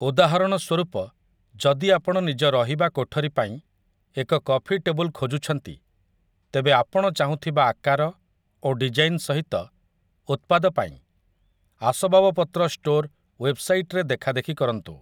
ଉଦାହରଣ ସ୍ୱରୂପ, ଯଦି ଆପଣ ନିଜ ରହିବା କୋଠରୀ ପାଇଁ ଏକ କଫି ଟେବୁଲ ଖୋଜୁଛନ୍ତି, ତେବେ ଆପଣ ଚାହୁଁଥିବା ଆକାର ଓ ଡିଜାଇନ ସହିତ ଉତ୍ପାଦ ପାଇଁ ଆସବାବପତ୍ର ଷ୍ଟୋର୍‌ ୱେବ୍‌ସାଇଟ୍‌ରେ ଦେଖାଦେଖି କରନ୍ତୁ ।